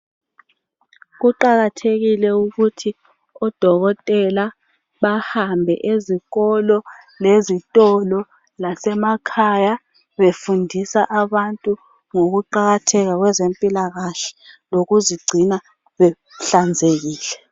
Kuqakathekile ukuthi odokotela bahambe ezikolo, lezitolo lase makhaya befundisa abantu ngokuqakatheka kwezempilakahle lokuzigcina behlanzekile.